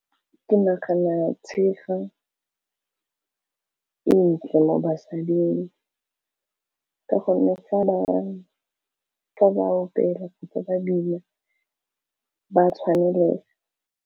Ke nagana tshega e ntle mo basading ka gonne fa ba apere kgotsa badula ba tshwanelega.